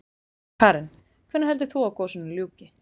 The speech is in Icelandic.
Karen: Hvenær heldur þú að gosinu ljúki?